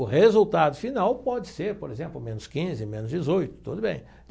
O resultado final pode ser, por exemplo, menos quinze, menos dezoito, tudo bem.